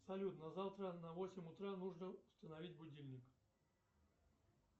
салют на завтра на восемь утра нужно установить будильник